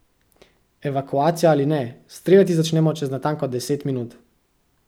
Evakuacija ali ne, streljati začnemo čez natančno deset minut.